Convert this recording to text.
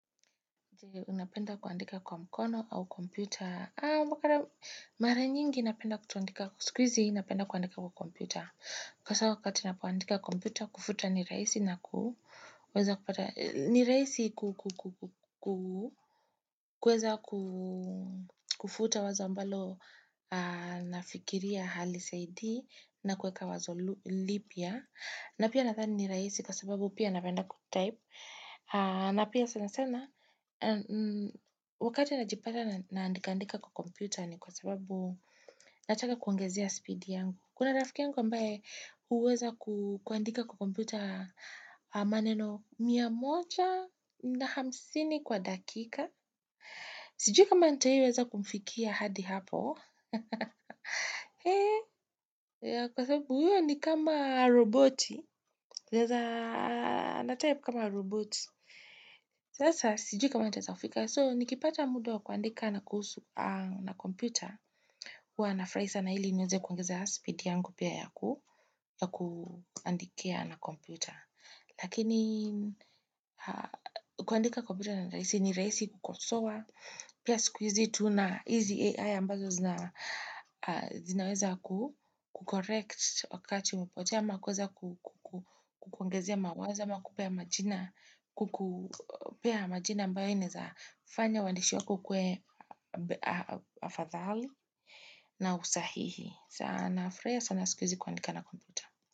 Napenda kuandika kwa mkono au kompyuta. Mara nyingi napenda kutoandika. Siku hizi napenda kuandika kwa kompyuta. Hasa wakati ninapoandika kompyuta kufuta nii rahisi kuweza kufuta wazo ambalo nafikiria halisaidii na kuweka wazo lipia. Na pia nadhani ni rahisi kwa sababu pia napenda kutaip. Na pia sana sana, wakati najipata naandikaandika kwa kompyuta ni kwa sababu nataka kuongezea speed yangu. Kuna rafiki yangu ambaye huweza kuandika kwa kompyuta maneno miya moja na hamsini kwa dakika. Sijui kama nitawai weza kumfikia hadi hapo. Kwa sababu huyo ni kama roboti. Naeza, natype kama roboti. Sasa, sijui kama nitaweza kufika. So, nikipata mtu wa kuandika na kuhusu kompyuta. Huwa nafurahi sana, ili niweze kuongeza speed yangu pia yakuandikia na kompyuta. Lakini, kuandika kompyuta ni rahisi kukosowa. Pia siku hizi tuna hizi AI ambazo zinaweza ku-correct wakati umepotea ama kuweza kukuongezea mawazo ama kukupea majina ambayo inaezafanya uwandishu wako ukue afadhali na usahihi sana nafurahia sana siku hizi kuandika na komputu.